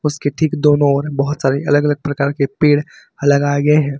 उसके ठीक दोनों ओर बहुत सारे अलग अलग प्रकार के पेड़ लगाए गए हैं।